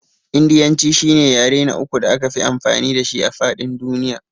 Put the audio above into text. Indiyanci shine yare na uku da akafi amfani dashi a faɗin duniya.